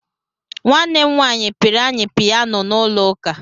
Nwanne m nwaanyị pịịrị anyị piyano n'ụlọ ụka.